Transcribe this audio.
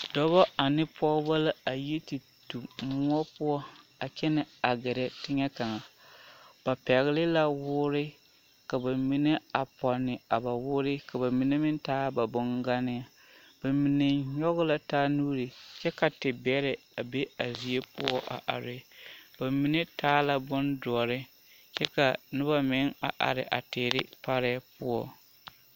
Dɔbɔ ane pɔgebɔ la a yi te tu moɔ poɔ a kyɛnɛ a gɛrɛ teŋɛ kaŋa ba pɛgele la woore ka bamine a pɔnne a ba woore ka bamine meŋ taa ba boŋganne bamine nyɔge la taa nuuri kyɛ ka tebɛrɛ a be a zie poɔ a are bamine taa la bodoɔre kyɛ k'a noba meŋ a are a teere parɛɛ poɔ.